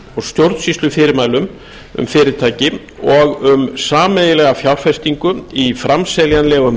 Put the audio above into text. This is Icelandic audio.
og stjórnsýslufyrirmælum um fyrirtæki og um sameiginlega fjárfestingu í framseljanlegum